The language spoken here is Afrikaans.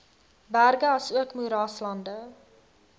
berge asook moeraslande